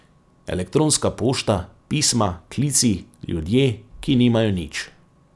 Elektronska pošta, pisma, klici, ljudje, ki nimajo nič.